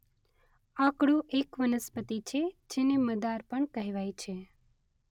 આકડો એક વનસ્પતિ છે જેને મદાર પણ કહેવાય છે.